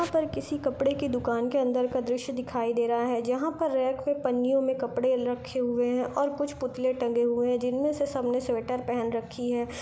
यहाँ पर किसी कपड़े की दुकान के अंदर का द्रश्य दिखाई दे रहा हे जहा पर रखे पन्नियों मे कपड़े रखे हुए हे ओर कुछ पुतले टंगे हुए हे जिनमे से सब ने स्वेटर पहन रखी हे।